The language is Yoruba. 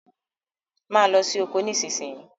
Mo ló sì okò nísìsiyìí!